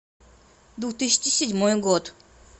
две тысячи седьмой год